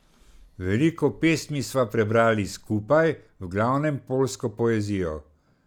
Veliko pesmi sva prebrali skupaj, v glavnem poljsko poezijo.